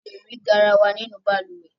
A le rí garawa nínú balùwẹ́